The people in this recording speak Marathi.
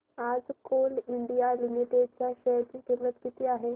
आज कोल इंडिया लिमिटेड च्या शेअर ची किंमत किती आहे